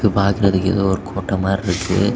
இது பாக்குறதுக்கு ஏதோ ஒரு கோட்ட மாரி இருக்கு.